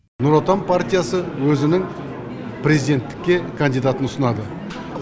нұр отан партиясы өзінің президенттікке кандидатын ұсынады